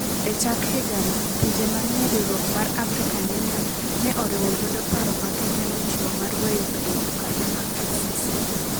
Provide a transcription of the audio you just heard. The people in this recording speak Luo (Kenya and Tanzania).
E chak higani, pinje manie riwruok mar African Union ne oriwo lwedo paro ma Kenya nochiwo mar weyo bedo jokanyo mag ICC.